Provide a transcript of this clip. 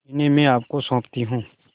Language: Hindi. इन्हें मैं आपको सौंपती हूँ